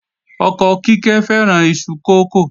Ọkọ Kíkẹ́ fẹ́ràn iṣu kókò